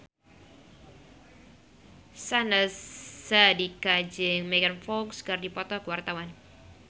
Syahnaz Sadiqah jeung Megan Fox keur dipoto ku wartawan